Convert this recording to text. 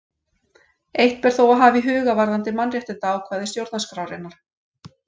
Eitt ber þó að hafa í huga varðandi mannréttindaákvæði stjórnarskrárinnar.